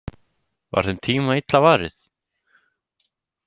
Var þeim tíma illa varið?